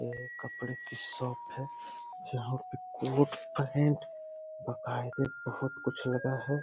ये कपड़े की शॉप है जहां पे कोट पैंट बकायदे बहुत कुछ लगा है।